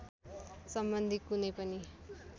सम्बन्धी कुनै पनि